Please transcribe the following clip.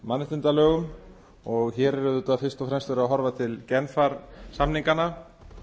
mannréttindalögum og hér er auðvitað fyrst og fremst verið að horfa til genfar samninganna